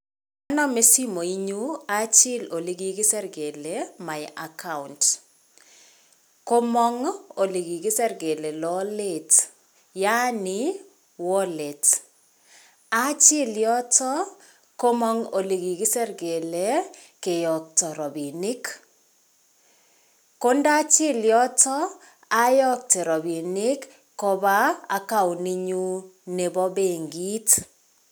Anome simenyun achil olekikisir kele my account komong' olekikisir kele lolet yaani wallet achil yoto komong' olekikisir kele keyokto robinik kondachil yotak ayokte rabinik kopa akaunt inyun nebo benkit